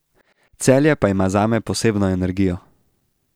Celje pa ima zame posebno energijo.